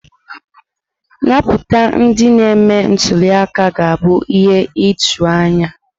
Nputa ndị na-eme ntuli aka ga abụ ihe ijuu anya.